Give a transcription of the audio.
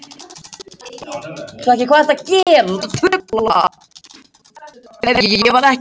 Það hefur mér tekist hingað til.